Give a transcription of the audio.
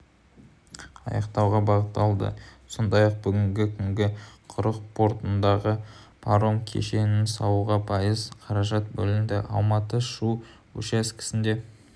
аяқтауға бағытталды сондай-ақ бүгінгі күні құрық портындағы паром кешенін салуға пайыз қаражат бөлінді алматы-шу учаскесінде